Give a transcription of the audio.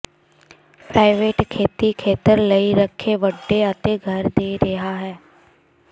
private ਖੇਤੀ ਖੇਤਰ ਲਈ ਰੱਖੇ ਵੱਡੇ ਅਤੇ ਘਰ ਦੇ ਰਿਹਾ ਹੈ